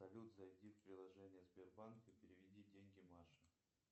салют зайди в приложение сбербанк и переведи деньги маше